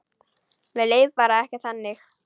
Mér leið bara ekki þannig.